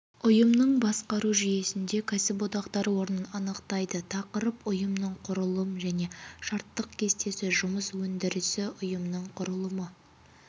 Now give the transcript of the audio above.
ұйымның басқару жүйесінде кәсіподақтар орнын анықтайды тақырып ұйымның құрылым және штаттық кестесі жұмыс өндірісі ұйымның құрылымы